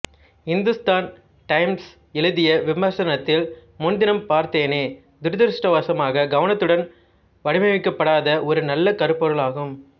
Hindustan Times எழுதிய விமர்சனத்தில் முன்தினம் பார்தேனே துரதிர்ஷ்டவசமாக கவனத்துடன் வடிவமைக்கப்படாத ஒரு நல்ல கருப்பொருள் ஆகும்